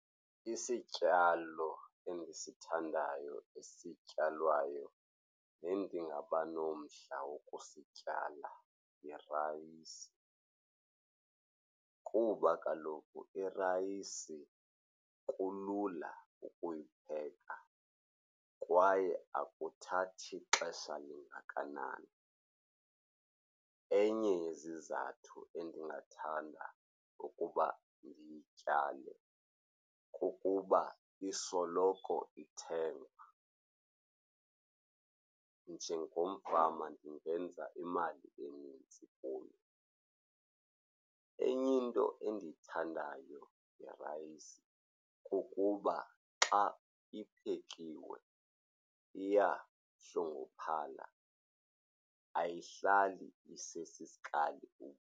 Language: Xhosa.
Isityalo endisithandayo esityalwayo nendingaba nomdla wokusityala yirayisi kuba kaloku irayisi kulula ukuyipheka kwaye akuthathi xesha lingakanani. Enye yezizathu endingathanda ukuba ndiyityale kukuba isoloko ithengwa. Njengomfama ndingenza imali enintsi kuyo. Enye into endiyithandayo ngerayisi kukuba xa iphekiwe iyahlunguphala, ayihlali isesisikali .